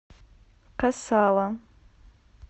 кассала